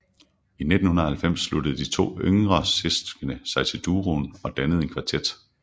I 1990 sluttede de to yngre søskende sig til duoen og dannede en kvartet